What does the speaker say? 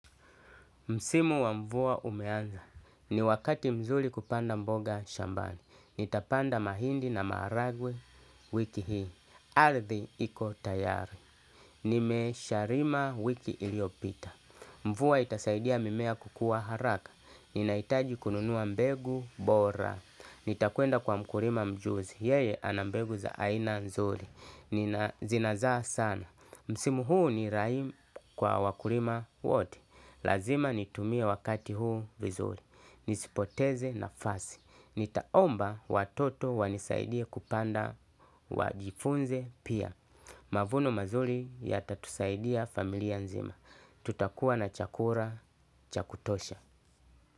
Msimu wa mvua umeanza. Ni wakati mzuli kupanda mboga shambani. Nitapanda mahindi na maragwe wiki hii. Ardhi iko tayari. Nime sharima wiki iliopita. Mvua itasaidia mimea kukua haraka. Ninaitaji kununua mbegu bora. Nitakuenda kwa mkurima mjuzi. Yeye anambegu za aina nzuli. Zina zaa sana. Msimu huu ni rahim kwa wakurima wote. Lazima nitumie wakati huu vizuri. Nisipoteze nafasi. Nitaomba watoto wanisaidia kupande wajifunze pia. Mavuno mazuri yatatusaidia familia nzima. Tutakua na chakura cha kutosha.